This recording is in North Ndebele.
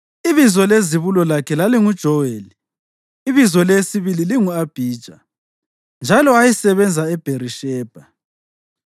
Ibizo lezibulo lakhe lalinguJoweli, ibizo leyesibili lingu-Abhija, njalo ayesebenza eBherishebha.